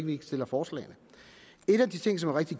vi ikke stiller forslagene en af de ting som er rigtig